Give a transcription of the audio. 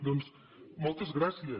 doncs moltes gràcies